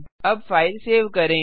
अब file save करें